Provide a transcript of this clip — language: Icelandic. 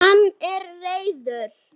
Hann er reiður.